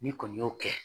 N'i kɔni y'o kɛ